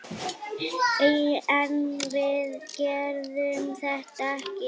En við gerðum þetta ekki!